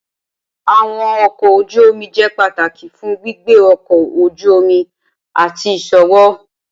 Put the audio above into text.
Awọn ọkọ oju omi jẹ pataki fun gbigbe ọkọ oju omi ati iṣowo.